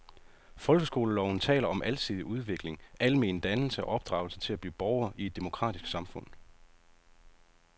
Folkeskoleloven taler om alsidig udvikling, almen dannelse og opdragelse til at blive borger i et demokratisk samfund.